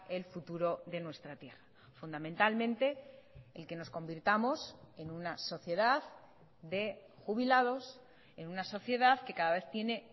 el futuro de nuestra tierra fundamentalmente el que nos convirtamos en una sociedad de jubilados en una sociedad que cada vez tiene